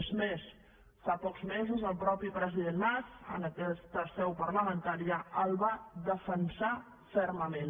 és més fa pocs mesos el mateix president mas en aquesta seu parlamentària el va defensar fermament